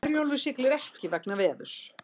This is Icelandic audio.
Herjólfur siglir ekki vegna veðurs